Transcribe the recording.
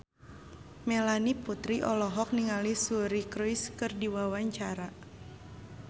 Melanie Putri olohok ningali Suri Cruise keur diwawancara